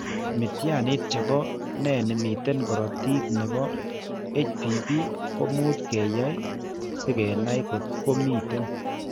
Mityaaniit che bo ne miten korotiik ne po HBB ko much ke yaay si kenai kot ko miten.